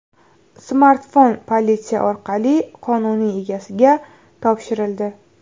Smartfon politsiya orqali qonuniy egasiga topshirildi.